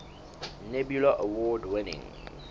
nebula award winning